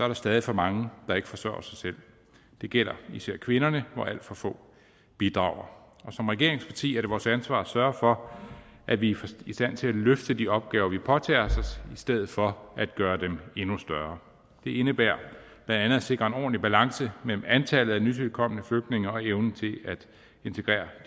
der stadig for mange der ikke forsørger sig selv det gælder især kvinderne hvor alt for få bidrager som regeringsparti er det vores ansvar at sørge for at vi er i stand til at løfte de opgaver vi påtager os i stedet for at gøre dem endnu større det indebærer blandt andet at sikre en ordentlig balance mellem antallet af nytilkomne flygtninge og evnen til at integrere